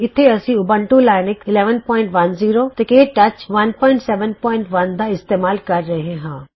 ਇਥੇ ਅਸੀਂ Ubuntu Linux 1110 ਤੇ ਕੇ ਟੱਚ 171 ਦਾ ਇਸਤੇਮਾਲ ਕਰ ਰਹੇ ਹਾਂ